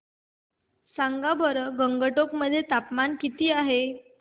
सांगा बरं गंगटोक मध्ये तापमान किती आहे